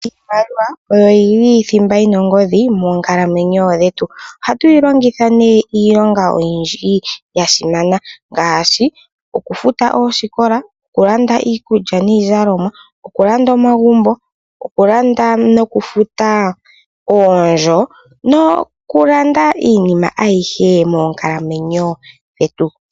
Iimaliwa oyo yi li thimba yi na ongodhi moonkalamweyo dhetu. Ohatu yi longitha nee iilonga oyindji ya simana ngaashi okufuta oosikola, okulanda iikulya niizalomwa, okulanda omagumbo, okulanda nokufuta oondjo, nokulanda iinima ayihe moonkalamweyo dhetu.